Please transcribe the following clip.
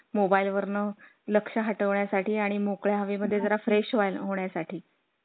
mobile वर्ण लक्ष हटोण्यासाठी आणि मोकळ हवे मध्ये जरा fresh होण्या साठी